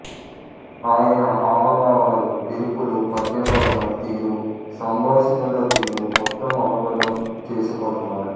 ఆయన హావభావాలు విరుపులు పద్యపఠనం తీరు సంభాషిణల తీరు మొత్తం అవగతం చేసుకొన్నాడు